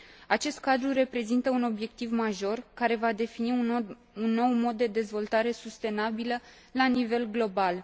Acest cadru reprezintă un obiectiv major, care va defini un nou mod de dezvoltare sustenabilă la nivel global.